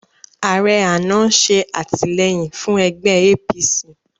Ààrẹ àná ń ṣe àtìlẹ́yìn fún ẹgbẹ́ APC